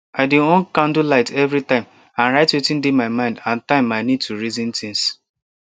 i dey on candle light every time and write wetin dey my mind and time i need to reason things